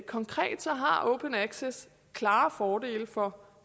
konkret har open access klare fordele for